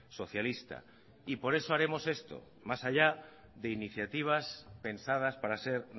socialista y por eso haremos esto más allá de iniciativas pensadas para ser